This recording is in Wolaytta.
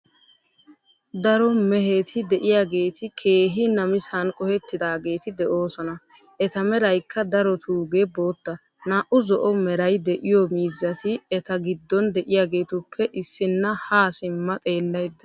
Daro meheti de"iyaageeti keehi namisan qohettidaageeti de'oosona. Eta meraykka darotuugee bootta. Naa"u zo"o meray de"iyoo miizati eta giddon de"iyaageetuppe issinna haa siimma xeellaydda de"awusu.